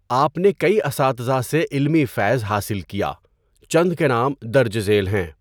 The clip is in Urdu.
آپ نے کئی اساتذہ سے علمی فیض حاصل کیا۔ چند کے نام درج ذیل ہیں۔